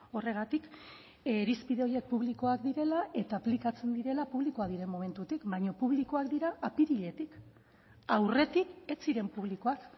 horregatik irizpide horiek publikoak direla eta aplikatzen direla publikoak diren momentutik baina publikoak dira apiriletik aurretik ez ziren publikoak